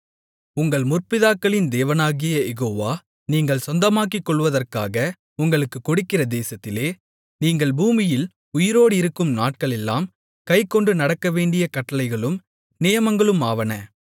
உங்கள் முற்பிதாக்களின் தேவனாகிய யெகோவா நீங்கள் சொந்தமாக்கிக்கொள்வதற்காக உங்களுக்கு கொடுக்கிற தேசத்திலே நீங்கள் பூமியில் உயிரோடிருக்கும் நாட்களெல்லாம் கைக்கொண்டு நடக்கவேண்டிய கட்டளைகளும் நியமங்களுமாவன